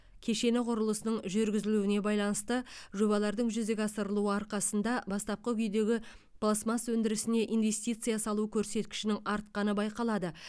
кешені құрылысының жүргізілуіне байланысты жобалардың жүзеге асырылуы арқасында бастапқы күйдегі пластмасс өндірісіне инвестиция салу көрсеткішінің артқаны байқалады